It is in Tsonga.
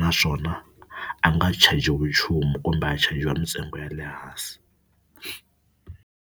naswona a nga chajiwi nchumu kumbe a chajiwa mintsengo ya le hansi.